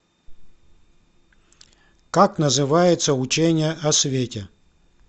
как называется учение о свете